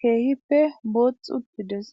keehippe booth uttides.